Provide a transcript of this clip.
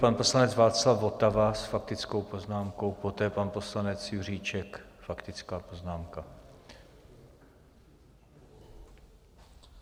Pan poslanec Václav Votava s faktickou poznámkou, poté pan poslanec Juříček, faktická poznámka.